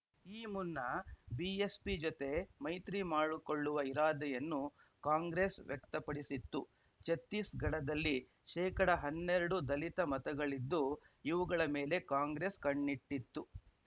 ಈ ಮುನ್ನ ಬಿಎಸ್‌ಪಿ ಜತೆ ಮೈತ್ರಿ ಮಾಡಿಕೊಳ್ಳುವ ಇರಾದೆಯನ್ನು ಕಾಂಗ್ರೆಸ್‌ ವ್ಯಕ್ತಪಡಿಸಿತ್ತು ಛತ್ತೀಸ್‌ಗಢದಲ್ಲಿ ಶೇಕಡಾ ಹನ್ನೆರಡು ದಲಿತ ಮತಗಳಿದ್ದು ಇವುಗಳ ಮೇಲೆ ಕಾಂಗ್ರೆಸ್‌ ಕಣ್ಣಿಟ್ಟಿತ್ತು